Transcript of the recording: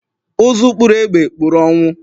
Ụzụ kpụrụ egbe, kpụrụ ọnwụ